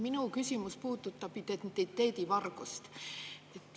Minu küsimus puudutab identiteedivargust.